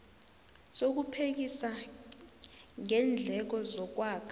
sokuphekisa ngeendleko zokwakha